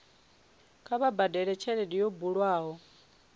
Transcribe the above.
kha vha badele tshelede yo bulwaho